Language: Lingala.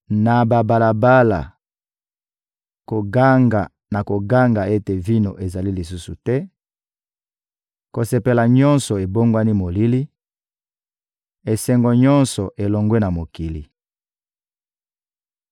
Na babalabala, koganga na koganga ete vino ezali lisusu te, kosepela nyonso ebongwani molili, esengo nyonso elongwe na mokili.